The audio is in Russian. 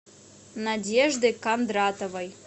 надеждой кондратовой